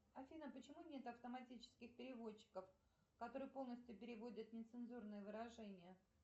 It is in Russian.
афина почему нет автоматических переводчиков которые полностью переводят нецензурные выражения